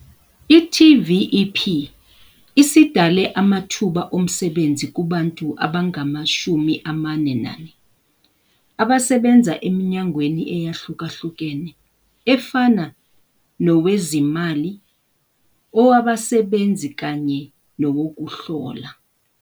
I-TVEP isidale amathuba omsebenzi kubantu abangama-44 abasebenza eminyangweni eyahlukahlukene efana nowezimali, owabasebenzi kanye nowokuhlola.